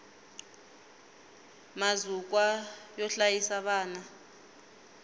mazukwa yo hlayisa vana